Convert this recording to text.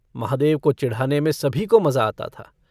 महादेव को चिढ़ाने में सभी को मजा आता था।